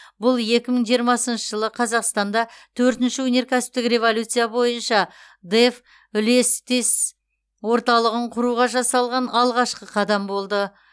бұл екі мың жиырмасыншы жылы қазақстанда төртінші өнеркәсіптік революция бойынша дэф үлестес орталығын құруға жасалған алғашқы қадам болды